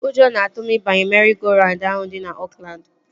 Ụjọ nọ na-atụ m ịbanye meri-go-raund ahụ dị na Oakland